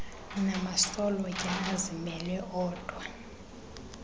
namasolotya azimele odwa